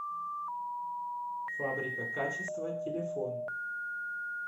фабрика качества телефон